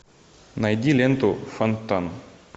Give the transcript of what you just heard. найди ленту фонтан